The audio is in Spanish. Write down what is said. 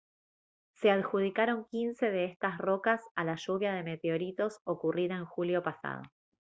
se adjudicaron quince de estas rocas a la lluvia de meteoritos ocurrida en julio pasado